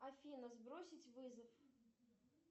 афина сбросить вызов